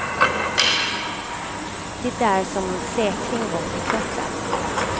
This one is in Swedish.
Det är som om en säkring gått i kroppen.